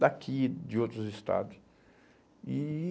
daqui e de outros estados. E e